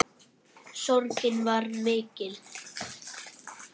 Sorgin var mikil.